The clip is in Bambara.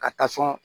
Ka taa sɔn